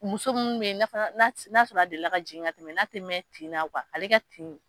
Muso munnu be yen n'a sɔrɔ a delila ka jigin ka tɛmɛ n'a te mɛ tin na kuwa ale ka tin